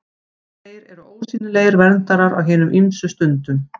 Þeir eru ósýnilegir verndarar á hinum ýmsu stundum.